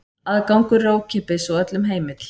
Aðgangur er ókeypis og öllum heimill.